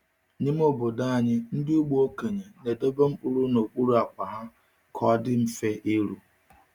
N’ime obodo anyị, ndị ugbo okenye na-edobe mkpụrụ n’okpuru akwa ha ka ọ dị mfe iru.